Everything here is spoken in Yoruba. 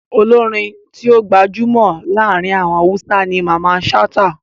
Olórin tí ó gbajúmọ̀ láàrin àwọn Hausa ni Mamman Shata.